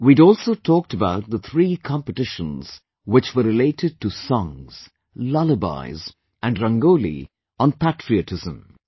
We had also talked about the three competitions which were related to songs, lullabies and 'Rangoli' on patriotism